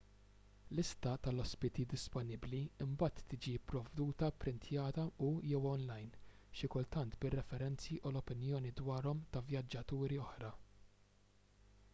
lista tal-ospiti disponibbli imbagħad tiġi pprovduta pprintjata u/jew online xi kultant bir-referenzi u l-opinjoni dwarhom ta' vjaġġaturi oħra